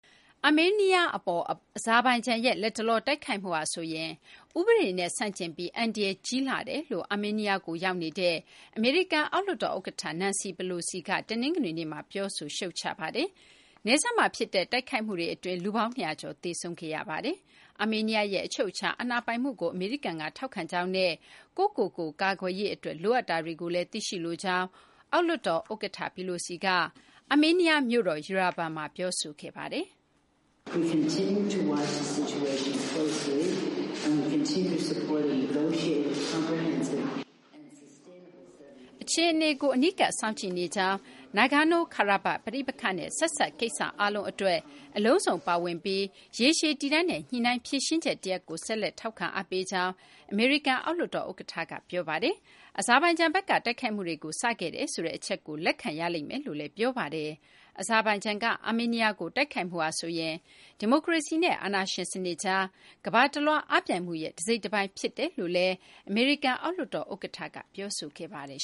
အာမေးနီးယား အပေါ် အဇာဘိုင်ဂျန်ရဲ့ လတ်တလော တိုက်ခိုက်မှုဟာဆိုရင် ဥပဒေနဲ့ ဆန့်ကျင်ပြီး အန္တရာယ် ကြီးမားလှကြောင်း အာမေးနီးယားကို ရောက်ရှိနေတဲ့ အမေရိကန် အောက်လွှတ်တော် ဥက္ကဋ္ဌ Nancy Pelosi က တနင်္ဂနွေနေ့မှာ ပြောဆို ရှုတ်ချလိုက်ပါတယ်။ နယ်စပ်မှာ ဖြစ်တဲ့ တိုက်ခိုက်မှုတွေ အတွင်း လူပေါင်း ၂၀၀ ကျော် သေဆုံးခဲ့ရပါတယ်။ အာမေးနီးယားရဲ့ အချုပ်အခြာ အာဏာပိုင်မှုကို အမေရိကန်က ထောက်ခံကြောင်းနဲ့ ကိုယ့်ကိုယ်ကိုယ် ကာကွယ်ရေး အတွက် လိုအပ်တာတွေကိုလည်း သိရှိလိုကြောင်း အောက်လွှတ်တော် ဥက္ကဋ္ဌ Pelosi က အာမေးနီးယား မြို့တော် Yerevan မှာ ပြောဆိုခဲ့ပါတယ်။ အခြေအနေကို အနီးကပ် စောင့်ကြည့်နေကြောင်း၊ Nagorno-Karabakh ပဋိပက္ခနဲ့ ဆက်စပ် ကိစ္စအားလုံး အတွက် အလုံးစုံပါဝင်ပြီး ရေရှည်တည်တံ့တဲ့ ညှိနှိုင်း ဖြေရှင်းချက်တရပ်ကို ဆက်လက် ထောက်ခံ အားပေးကြောင်း အမေရိကန် အောက်လွှတ်တော် ဥက္ကဋ္ဌ က ပြောပါတယ်။ အဇာဘိုင်ဂျန်ဘက်က တိုက်ခိုက်မှုတွေကို စခဲ့တယ်ဆိုတဲ့ အချက်ကို လက်ခံရလိမ့်မယ်လို့လည်း ပြောပါတယ်။ အဇာဘိုင်ဂျန်က အာမေးနီးယားကို တိုက်ခိုက်မှုဟာဆိုရင် ဒီမိုကရေစီနဲ့ အာဏာရှင်စနစ်ကြား ကမ ္ဘာတလွှား အားပြိုင်မှုရဲ့ တစိတ်တပိုင်း ဖြစ်တယ်လို့လည်း အမေရိကန် အောက်လွှတ်တော် ဥက္ကဋ္ဌ Pelosi က ပြောဆိုခဲ့ပါတယ်